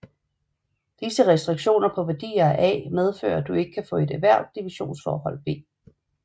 Disse restriktioner på værdier af A medfører at du ikke kan få ethvert divisionsforhold V